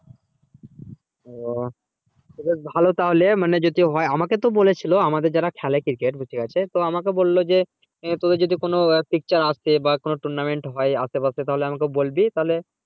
ও তো বেশ ভালো তাহলে মানে যদি হয় আমাকে তো বলেছিল আমাদের যারা খেলে cricket তো ঠিক আছে তো আমাকে বললো যে তোর কাছে যদি কোনো picture আসে বা কোনো tournament হয় আশে পাশে তাহলে আমাকে বলবি তাহলে